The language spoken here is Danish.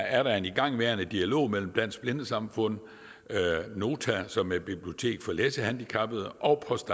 er der en igangværende dialog mellem dansk blindesamfund nota som er et bibliotek for læsehandicappede og post